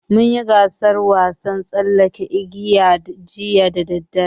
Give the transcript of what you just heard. Mun yi gasaar wasan tsallaken igiya jiya da daddare.